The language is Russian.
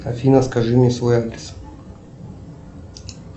афина скажи мне свой адрес